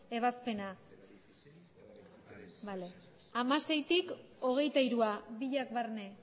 ebazpena hamaseitik hogeita hirura biak barne